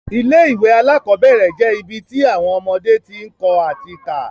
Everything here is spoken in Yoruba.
Ilé ìwé alákọ́bẹ̀rẹ̀ je ibi ti awọn ọmọdé ti ń kọ́ ati ká